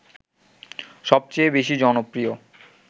সবচেয়ে বেশি জনপ্রিয়